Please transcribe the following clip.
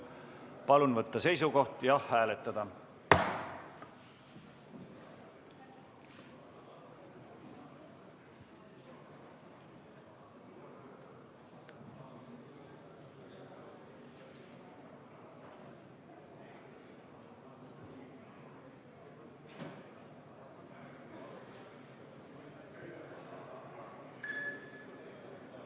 Palun võtta seisukoht ja hääletada!